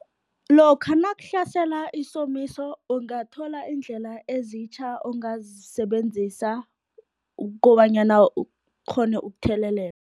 Lokha nakuhlasela isomiso, ungathola iindlela ezitjha ongazisebenzisa, kobanyana ukghone ukuthelelela.